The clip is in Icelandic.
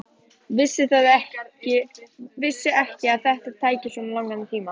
Vissi ekki að þetta tæki svona langan tíma.